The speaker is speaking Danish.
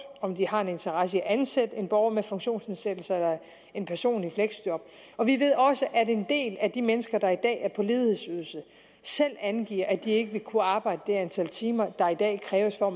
om de har en interesse i at ansætte en borger med funktionsnedsættelse eller en person i fleksjob og vi ved også at en del af de mennesker der i dag er på ledighedsydelse selv angiver at de ikke vil kunne arbejde det antal timer der i dag kræves for